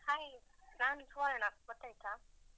Hai ನಾನು ಸುವರ್ಣ ಗೊತ್ತಾಯ್ತಾ?